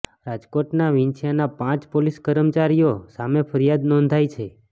રાજકોટના વિંછિયાના પાંચ પોલીસ કર્મચારીઓ સામે ફરિયાદ નોંધાઈ છે